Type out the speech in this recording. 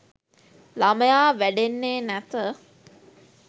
ළමයා වැඩෙන්නේ නැත.